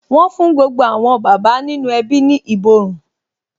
Wọn fún gbogbo àwọn bàbá nínú ẹbí ní ìborùn